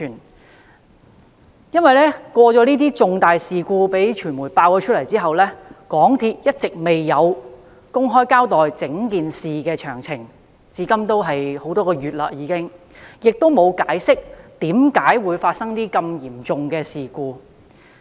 在傳媒揭發這宗重大事故後，香港鐵路有限公司一直未有公開交代整件事件的詳情，至今已多月，但仍沒有解釋為何會發生如此嚴重的事故。